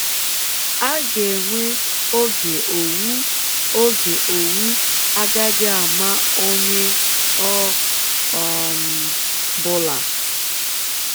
A ga-enwe oge owu oge owu agaghị ama ọnye ọ um bụla.